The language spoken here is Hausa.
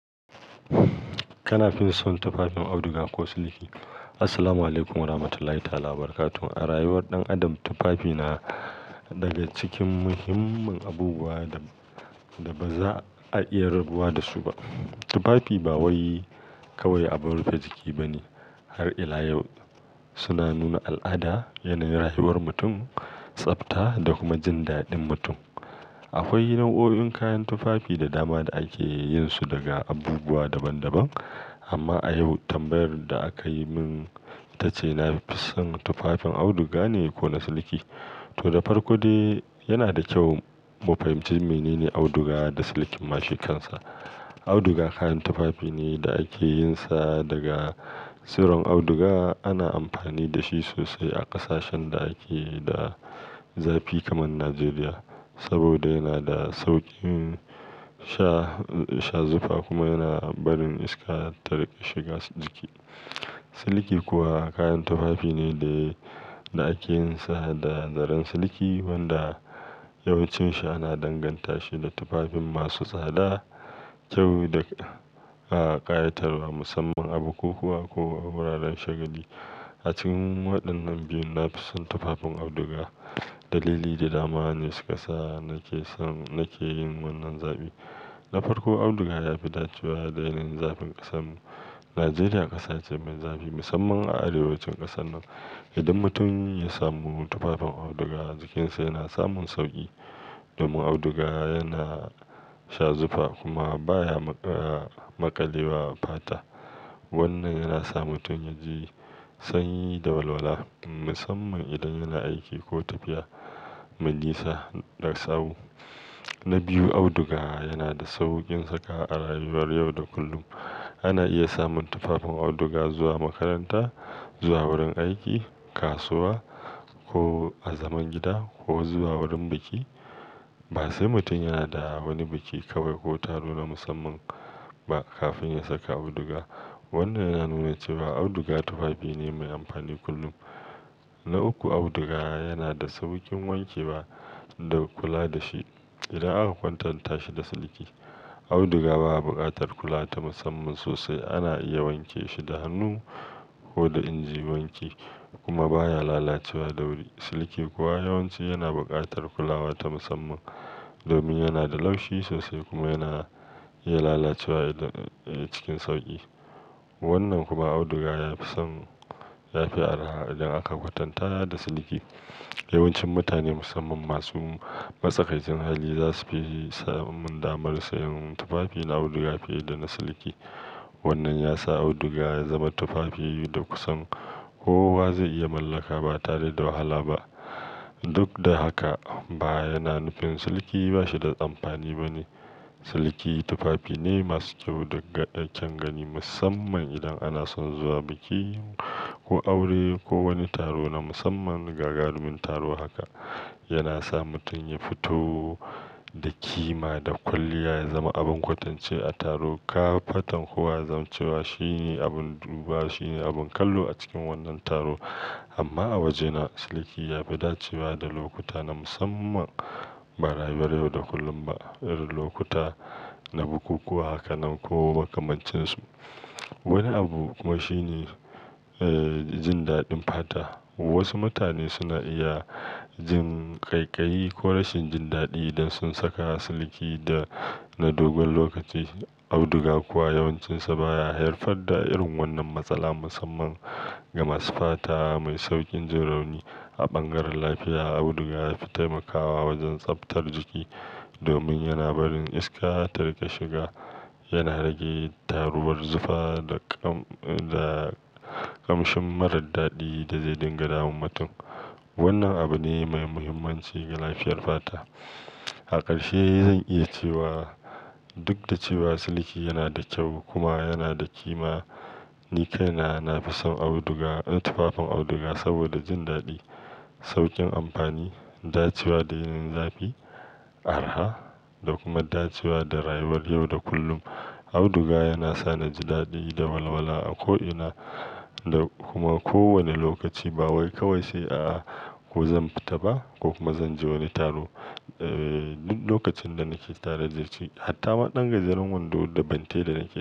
Kana fison tufafin auduga ko siliki? Assalamualaikum warahmatullahi ta'ala wabarakatuh. A rayuwar ɗan adam, tufafi na daga cikin muhimman abubuwa da-da ba za a iya rabuwa da su ba. Tufafi ba wai kawai abin rufe jiki ba ne. Har ila yau suna nuna al'ada, yanayin rayuwar mutum, tsafta da kuma jin daɗin mutum. Akwai nau'o'in kayan tufafi da dama da ake yin su daga abubuwa daban-daban. Amma a yau tambayar da aka yi min ta ce na fi son tufafin auduga ne ko na siliki? To, da farko dai yana da kyau mu fahimci mene ne auduga da silikin ma shikansa. Auduga kayan tufafi ne da ake yin sa daga tsiron auduga. Ana amfani da shi sosai a ƙasashen da ake da zafi kamar Najeriya, saboda yana da sauƙin sha-sha zufa kuma yana barin iska ta riƙa shiga jiki. Siliki kuwa kayan tufafi ne da ake yin sa da zaren siliki wanda yawancinshi ana danganta shi da tufafin masu tsada, kyau da, a, ƙayatarwa musamman a bukukuwa ko a wuraren shagali. A cikin waɗannan biyun na fi son tufafin auduga. Dalili da dama ne su ƙasa nake son-- nake yin wannan zaɓi. Na farko, auduga ya fi dacewa da yanayin zafin ƙasarmu. Najeriya ƙasa ce mai zafi musamman a arewacin ƙasar nan. Idan mutum ya samu tufafin auduga jikinsa yana samun sauƙi domin auduga yana shazufa kuma baya maƙalewa fata. Wannan yana sa mutum ya ji sanyi da walwala musamman idan yana aiki ko tafiya mai nisa da sawu. Na biyu, auduga yana da sauƙin saka a rayuwar yau da kullum. Ana iya samun tufafin auduga zuwa makaranta, zuwa wurin aiki, kasuwa ko a zaman gida ko zuwa wurin biki. Ba sai mutum yana da wani biki kawai ko taro na musamman ba kafin ya saka auduga. Wannan yana nuna cewa auduga tufafi ne mai amfani kullum. Na uku, auduga yana da sauƙin wanke wa da kula da shi idan aka kwatanta shi da siliki. Auduga baya buƙatar kula ta musamman sosai. Ana iya wanke shi da hannu ko da injin wanki kuma baya lalacewa da wuri. Siliki kuwa yawanci yana buƙatar kulawa ta musamman domin yana da laushi sosai kuma yana iya lalacewa idan, eh, cikin sauƙi. Wannan kuma auduga ya fi son, ya fi araha idan aka kwatanta da siliki. Yawancin mutane musamman masu matsakaicin hali za su fi samun damar sayen tufafin auduga fiye da na siliki. Wannan ya sa auduga ya zama tufafi da kusan kowa zai iya mallaka ba tare da wahala ba. Duk da haka ba yana nufin siliki ba shi da amfani ba ne. Siliki tufafi ne masu kyau da ƙyan gani musamman idan ana son zuwa biki ko aure ko wani taro na musamman gagarumin taro haka. Yana sa mutum ya fito da kima da kwalliya, ya zama abin kwatance a taro. Kafatan kuwa yazam cewa shi ne abin duba, shi ne abin kallo a cikin wannan taro. Amma a wajena siliki ya fi dacewa da lokuta na musamman ba rayuwar yau da kullum ba. Irin lokuta na bukukuwa haka nan ko makamancinsu. Wani abu kuma shine, eh, jin daɗin fata. Wasu mutane suna iya jin ƙaiƙayi ko rashin jin daɗi idan sun saka siliki da na dogon lokaci. Auduga kuwa yawancinsa baya haifar da irin wannan matsala musamman ga masu fata mai sauƙin jin rauni A bangaren lafiya auduga ya fi taimakawa wajen tsaftar jiki domin yana barin iska ta riƙa shiga, yana rage taruwar zufa da ƙam-da ƙamshin marar daɗi da zai dinga damun mutum. Wannan abu ne mai muhimmanci ga lafiyar fata. A ƙarshe zan iya cewa duk da cewa siliki yana da kyau kuma yana da kima ni kai na, na fi son auduga, eh, tufafin auduga saboda jin daɗi, sauƙin amfani, dacewa da yanayin zafi, araha da kuma dacewa da rayuwar yau da kullum. Auduga yana sa na ji daɗi da walwala a ko ina da kuma ko wane lokaci. Ba wai kawai sai a'a, ko zan fita ba ko kuma zan je wani taro. Eh, duk lokacin da nake tare da shi. Hatta ma ɗan gajeren wando da bante da nake yi.